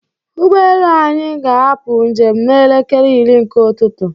ụgbọelu anyị ga-apụ njem n'elekere iri nke ụtụtụ.